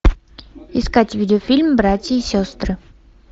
искать видео фильм братья и сестры